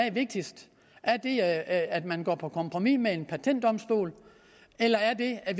er vigtigst er det at man går på kompromis med en eu patentdomstol eller er det at